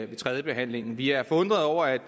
ved tredjebehandlingen vi er forundrede over at